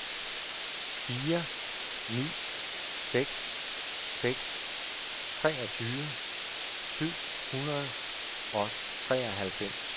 fire ni seks seks treogtyve syv hundrede og treoghalvfems